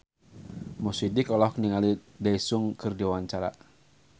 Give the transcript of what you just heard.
Mo Sidik olohok ningali Daesung keur diwawancara